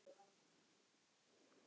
En ekki þetta.